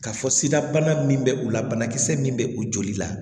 K'a fɔ sidabana min bɛ u la banakisɛ min bɛ u joli la